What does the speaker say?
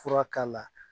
Fura k'a la